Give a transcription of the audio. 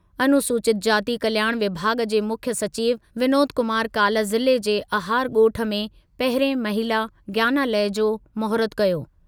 अनुसूचित जाति कल्याण विभाॻ जे मुख्यु सचिवु विनोद कुमार काल्ह ज़िले जे अहार ॻोठु में पहिरिएं महिला ज्ञानालय जो महूरतु कयो।